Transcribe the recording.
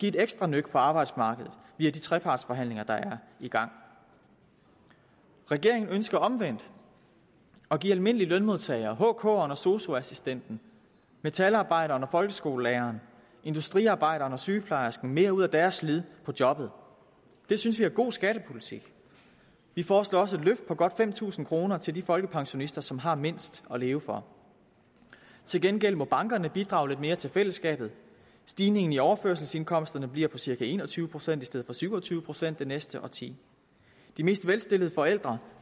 et ekstra nøk på arbejdsmarkedet via de trepartsforhandlinger der er i gang regeringen ønsker omvendt at give almindelige lønmodtagere hkeren og sosu assistenten metalarbejderen og folkeskolelæreren industriarbejderen og sygeplejersken mere ud af deres slid på jobbet det synes vi er god skattepolitik vi foreslår også et løft på godt fem tusind kroner til de folkepensionister som har mindst at leve for til gengæld må bankerne bidrage lidt mere til fællesskabet stigningen i overførselsindkomsterne bliver på cirka en og tyve procent i stedet for syv og tyve procent det næste årti de mest velstillede forældre